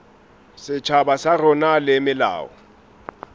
setjhaba sa rona le melao